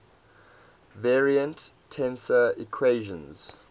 covariant tensor equations